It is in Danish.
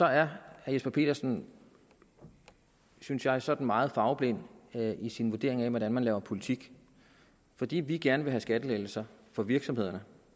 herre jesper petersen synes jeg sådan meget farveblind i sin vurdering af hvordan man laver politik fordi vi gerne vil have skattelettelser for virksomhederne